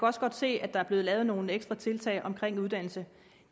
også godt se at der er blevet lavet nogle ekstra tiltag omkring uddannelse